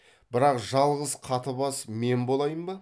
бірақ жалғыз қатыбас мен болайын ба